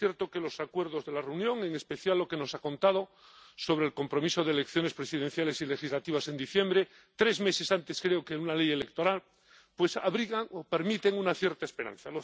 Es cierto que los acuerdos de la reunión, en especial lo que nos ha contado sobre el compromiso de elecciones presidenciales y legislativas en diciembre —tres meses antes, creo, habrá una ley electoral—, permiten abrigar una cierta esperanza.